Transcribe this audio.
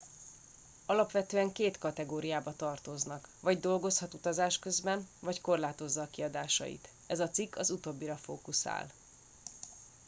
alapvetően két kategóriába tartoznak vagy dolgozhat utazás közben vagy korlátozza a kiadásait ez a cikk az utóbbira fókuszál